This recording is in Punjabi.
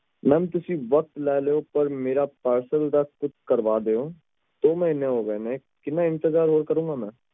ਤੁਸੀਂ ਵਕ਼ਤ ਲੈ ਲਓ ਪਾਰ ਮੇਰਾ parcel ਦਾ ਕੁਛ ਕਰਵਾ ਦਿਓ ਦੋ ਮਹੀਨੇ ਹੋ ਗਏ ਨੇ ਹੋਰ ਕਿੰਨਾ ਇੰਤਜ਼ਾਰ ਕਰਾ